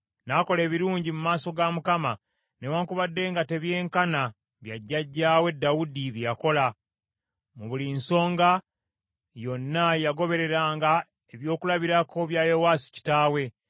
N’akola ebirungi mu maaso ga Mukama , newaakubadde nga tebyenkana bya jjajjaawe Dawudi bye yakola. Mu buli nsonga yonna yagobereranga ekyokulabirako kya Yowaasi kitaawe.